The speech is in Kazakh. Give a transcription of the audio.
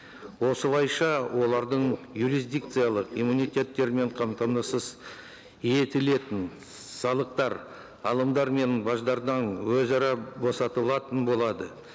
осылайша олардың юрисдикциялық иммунитеттері мен қамтамасыз етілетін салықтар алымдар мен баждардан өзара босатылатын болады